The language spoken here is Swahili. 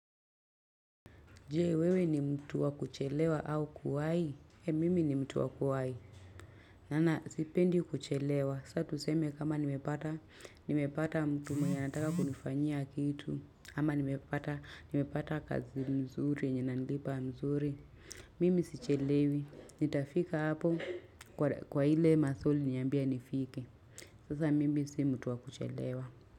Je, wewe ni mtu wa kuchelewa au kuwahi? He! Mimi ni mtu wa kuwahi. Na na si pendi kuchelewa. Sa tuseme kama nimepata mtu mwenye nataka kunifanyia kitu. Ama nimepata kazi mzuri yenye inanilipa mzuri. Mimi sichelewi. Nitafika hapo kwa ile masaa uliniambia nifike. Sasa mimi si mtu wa kuchelewa.